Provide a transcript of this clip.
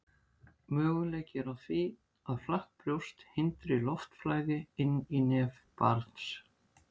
möguleiki er á því að flatt brjóst hindri loftflæði inn í nef barns